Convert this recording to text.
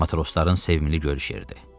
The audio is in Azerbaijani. Matrosların sevimli görüş yeridir.